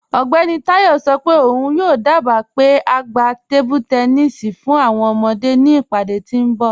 Ọgbẹni Tayọ sọ pe ọun yoo dába pe a gbà tẹ̀nìṣí tábílí fún awọn ọmọde ni ìpadé tí nbọ̀.